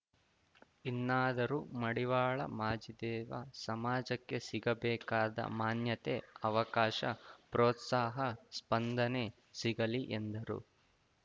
ಇನ್ನಾದರೂ ಮಡಿವಾಳ ಮಾಚಿದೇವ ಸಮಾಜಕ್ಕೆ ಸಿಗಬೇಕಾದ ಮಾನ್ಯತೆ ಅವಕಾಶ ಪ್ರೋತ್ಸಾಹ ಸ್ಪಂದನೆ ಸಿಗಲಿ ಎಂದರು